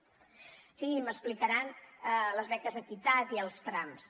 o sigui ja m’explicaran les beques equitat i els trams